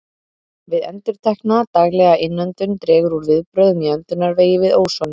Við endurtekna, daglega innöndun dregur úr viðbrögðum í öndunarvegi við ósoni.